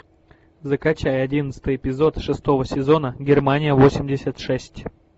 закачай одиннадцатый эпизод шестого сезона германия восемьдесят шесть